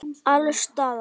Alls staðar.